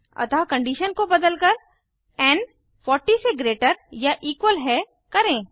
अतः कंडीशन को बदलकर एन 40 से ग्रेटर या इक्वल है करें